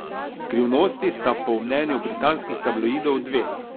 Skrivnosti sta po mnenju britanskih tabloidov dve.